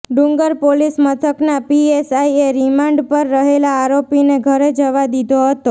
ડુંગર પોલીસ મથકના પીએસઆઇએ રિમાન્ડ પર રહેલા આરોપીને ઘરે જવા દીધો હતો